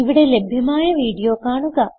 ഇവിടെ ലഭ്യമായ വീഡിയോ കാണുക